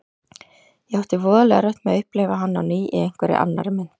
Ég átti voðalega erfitt með að upplifa hann á ný í einhverri annarri mynd.